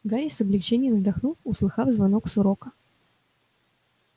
гарри с облегчением вздохнул услыхав звонок с урока